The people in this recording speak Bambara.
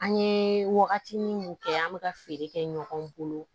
An ye wagati min kɛ an bɛ ka feere kɛ ɲɔgɔn bolo